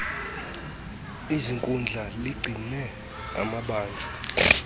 ziinkundla ligcine amabanjwa